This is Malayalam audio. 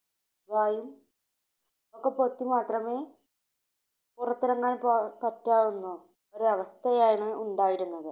വായും ഒക്കെ പൊത്തി മാത്രമേ പുറത്തു ഇറങ്ങാൻ പ~പറ്റാവുന്ന ഒരു അവസ്ഥയാണ് ഉണ്ടായിരുന്നത്.